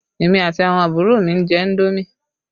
Èmi àti àwọn àbúrò mi ń jẹ indomi